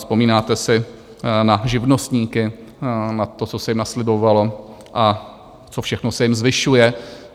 Vzpomínáte si na živnostníky, na to, co se jim naslibovalo a co všechno se jim zvyšuje?